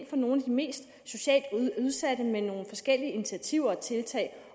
for nogle af de mest socialt udsatte med nogle forskellige initiativer og tiltag